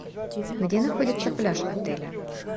где находится пляж отеля